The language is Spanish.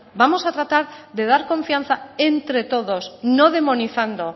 bueno vamos a tratar de dar confianza entre todos no demonizando